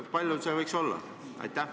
Kui palju see võiks olla?